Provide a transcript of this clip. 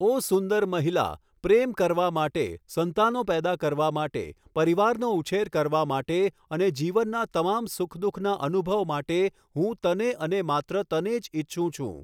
ઓ સુંદર મહિલા, પ્રેમ કરવા માટે, સંતાનો પેદા કરવા માટે, પરિવારનો ઉછેર કરવા માટે અને જીવનના તમામ સુખ દુખના અનુભવ માટે હું તને અને માત્ર તને જ ઈચ્છું છું.